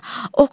Tamara.